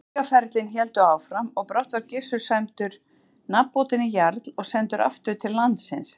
Vígaferlin héldu áfram og brátt var Gissur sæmdur nafnbótinni jarl og sendur aftur til landsins.